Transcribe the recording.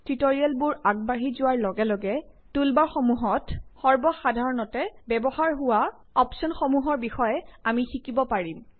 টুলবাৰসমূহত সৰ্বসাধাৰণতে ব্যৱহাৰ হোৱা অপ্শ্বনসমূহ থাকে যিবোৰৰ বিষয়ে আমি শিকিব পাৰিম টিউটৰিয়েল আগবাঢ়ি যোৱাৰ লগে লগে